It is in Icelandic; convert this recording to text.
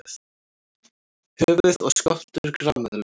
Höfuð og skoltur grameðlu.